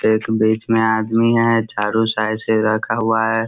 बिच-बिच में आदमी है चारो साइड से रखा हुआ है।